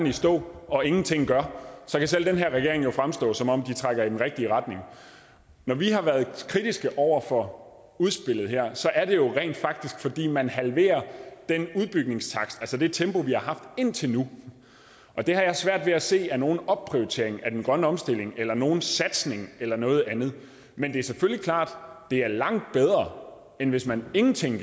i stå og ingenting gør så kan selv den her regering jo fremstå som om den trækker i den rigtige retning når vi har været kritiske over for udspillet her så er det jo rent faktisk fordi man halverer den udbygningstakt altså det tempo vi har haft indtil nu og det har jeg svært ved at se er nogen opprioritering af den grønne omstilling eller nogen satsning eller noget andet men det er selvfølgelig klart at det er langt bedre end hvis man ingenting